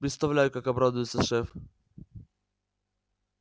представляю как обрадуется шеф